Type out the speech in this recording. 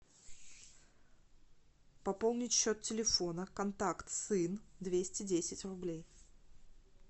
пополнить счет телефона контакт сын двести десять рублей